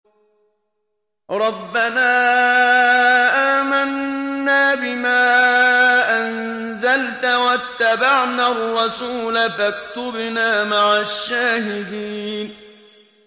رَبَّنَا آمَنَّا بِمَا أَنزَلْتَ وَاتَّبَعْنَا الرَّسُولَ فَاكْتُبْنَا مَعَ الشَّاهِدِينَ